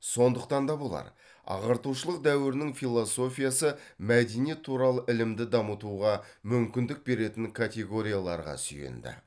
сондықтан да болар ағартушылық дәуірінің философиясы мәдениет туралы ілімді дамытуға мүмкіндік беретін категорияларға сүйенді